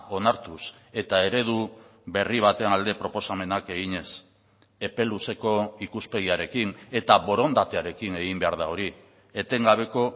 onartuz eta eredu berri baten alde proposamenak eginez epe luzeko ikuspegiarekin eta borondatearekin egin behar da hori etengabeko